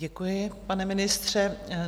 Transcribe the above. Děkuji, pane ministře.